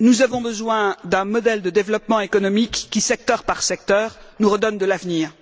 nous avons besoin d'un modèle de développement économique qui, secteur par secteur, nous redonne de l'avenir.